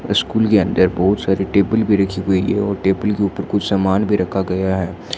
School के अंदर बहुत सारी टेबल भी रखी हुई है और टेबल के ऊपर कुछ सामान भी रखा गया है।